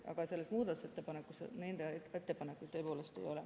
Aga selles muudatusettepanekus nende ettepanekuid tõepoolest ei ole.